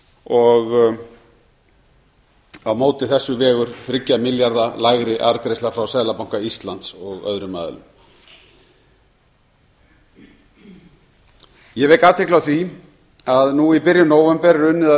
og á móti þessu vegur þriggja milljarða lægri arðgreiðsla frá seðlabanka íslands og öðrum aðilum ég vek athygli á því að nú í byrjun nóvember er unnið að